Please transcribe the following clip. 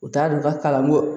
U t'a dɔn u ka kalan ko